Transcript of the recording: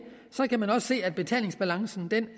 kan man også se af betalingsbalancen